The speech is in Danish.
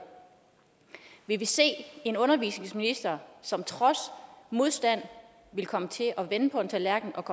vil vi se en undervisningsminister som trods modstand vil komme til at vende på en tallerken